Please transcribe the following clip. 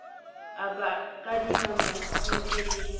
a ba kadima masenke le